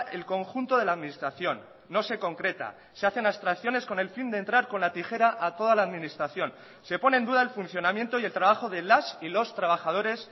el conjunto de la administración no se concreta se hacen abstracciones con el fin de entrar con la tijera a toda la administración se pone en duda el funcionamiento y el trabajo de las y los trabajadores